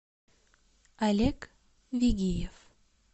олег вигиев